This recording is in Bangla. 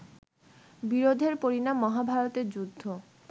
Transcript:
বিরোধের পরিণাম মহাভারতের যুদ্ধ